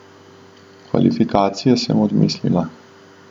Kvalifikacije sem odmislila.